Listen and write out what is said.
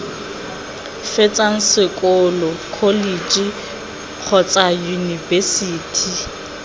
fetsang sekolo kholetšhe kgotsa yunibesithi